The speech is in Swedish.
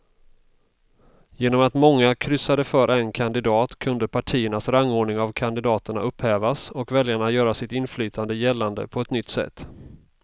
Genom att många kryssade för en kandidat kunde partiernas rangordning av kandidaterna upphävas och väljarna göra sitt inflytande gällande på ett nytt sätt.